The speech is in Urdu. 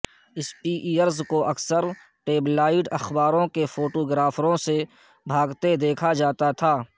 سپیئرز کو اکثر ٹیبلائڈ اخباروں کے فوٹوگرافروں سے بھاگتے دیکھا جاتا تھا